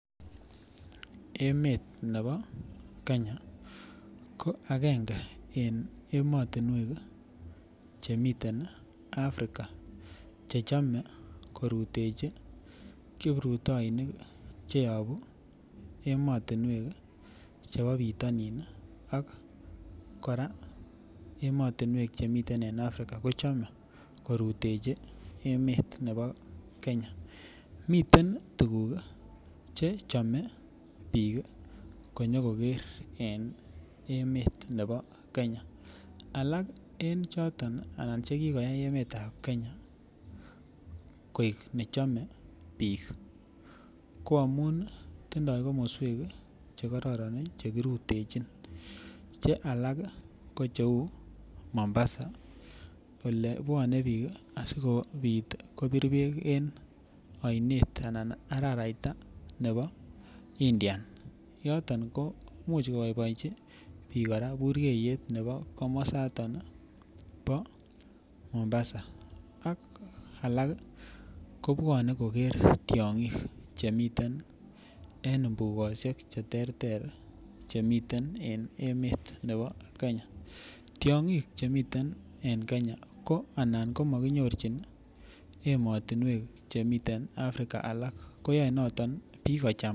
Emet nebo Kenya ko akenge eng emotinwek chemiten Africa che chamei korutechi kiprutainik cheyobu emotunwek chebo bitonin ak kora emotunwek chemiten Africa kochomei korutechi emet nebo Kenya miten tuguk che chome biik konyokoker eng emet nebo Kenya alak eng choton anan chekiko koyai emet ap Kenya koek nechomei biik ko amun tindoi komoswek chekororon chekirutchin che alak ko cheu Mombasa olepwone biik asikobit kobir beek en oinet anan araraita nebo indian yoton ko muuch koboiboenchi biik kora burkeiyet nebo komosatan bo Mombasa ak alak kobwone koker tiong'ik chemiten en imbukoshiek che ter ter chemiten en emet nebo Kenya tiong'ik chemiten en Kenya ko anan komakinyorchin ematunwek chemiten Africa alak koyoe noton biik kocham.